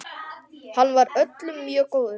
Hann var öllum mjög góður.